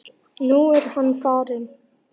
Nú er hann farinn.